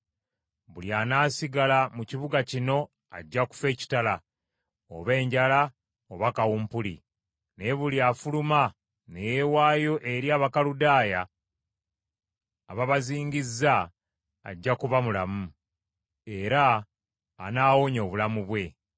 Buli anaasigala mu kibuga kino ajja kufa ekitala, oba enjala oba kawumpuli. Naye buli afuluma ne yeewaayo eri Abakaludaaya ababazingizza, ajja kuba mulamu, era anaawonya obulamu bwe.